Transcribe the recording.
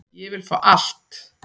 Ég vil fá allt.